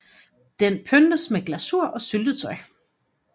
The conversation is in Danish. Den pyntes med glasur og syltetøj